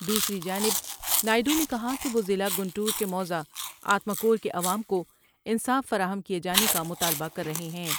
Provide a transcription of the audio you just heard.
دوسری جانب نائیڈو نے کہا کہ وہ ضلع گنٹور کے موضع آتما کور کے عوام کو انصاف فراہم کئے جانے کا مطالبہ کررہے ہیں ۔